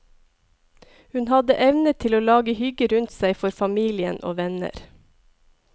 Hun hadde evne til å lage hygge rundt seg for familien og venner.